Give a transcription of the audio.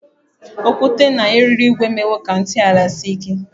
Okwute na eriri ígwè emewo ka ntọala sie ike.